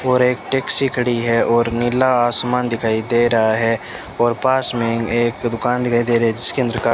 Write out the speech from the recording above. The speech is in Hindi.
और एक टैक्सी खड़ी है और नीला आसमान दिखाई दे रहा है और पास में एक दुकान दिखाई दे रहे इसके अंदर का --